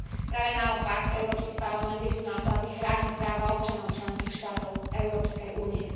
Práve naopak, Európsky parlament je tu na to, aby chránil práva občanov členských štátov Európskej únie.